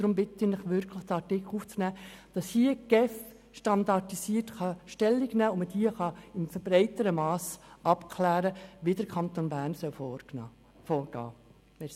Deshalb bitte ich Sie wirklich, diesen Artikel aufzunehmen, damit die GEF hier standardisiert Stellung nehmen und man in breiterem Mass abklären kann, wie der Kanton Bern in solchen Fällen vorgehen soll.